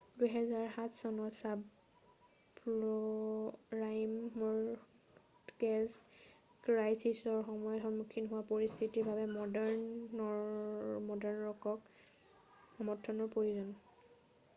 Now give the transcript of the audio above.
2007 চনত subprime mortgage ক্ৰাইছিছৰ সময়ত সন্মুখীন হোৱা পৰিস্থিতিৰ বাবে নৰ্ডাণ ৰকক সমৰ্থনৰ প্ৰয়োজন